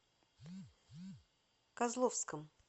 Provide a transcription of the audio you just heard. козловском